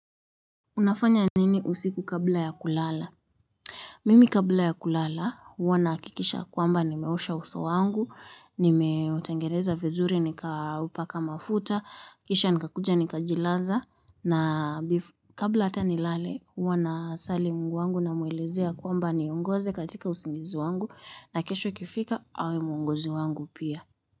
Unafanya nini usiku kabla ya kulala? Mimi kabla ya kulala huwa nahakikisha kwamba nimeosha uso wangu, nimeutengeneza vizuri nikaupaka mafuta, kisha nikakuja nikajilaza, na kabla hata nilale huwa nasali Mungu wangu namuelezea kwamba aniongoze katika usingizi wangu na kesho ikifika awe mwongozi wangu pia.